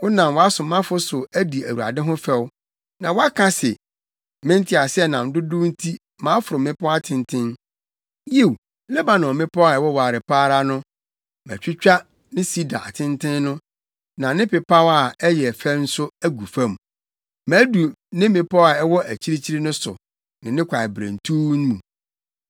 Wonam wʼasomafo so adi Awurade ho fɛw. Na woaka se, ‘Me nteaseɛnam dodow nti maforo mmepɔw atenten. Yiw Lebanon mmepɔw a ɛwoware pa ara no. Matwitwa ne sida atenten no, ne nʼapepaw a ɛyɛ fɛ no agu fam. Madu ne mmepɔw a ɛwɔ akyirikyiri no so, ne ne kwaeberentuw mu.